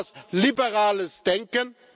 Ist das liberales Denken?